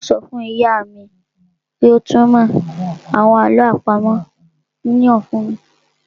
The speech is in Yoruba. Un ó sọ fún ìyá mi kí ó túnmọ̀ àwọn àlọ́ àpamọ́ náà fún mi